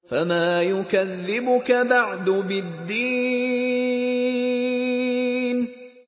فَمَا يُكَذِّبُكَ بَعْدُ بِالدِّينِ